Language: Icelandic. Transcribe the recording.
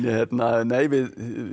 nei við